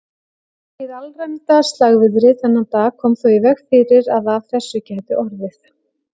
Hið alræmda slagviðri þennan dag kom þó í veg fyrir að af þessu gæti orðið.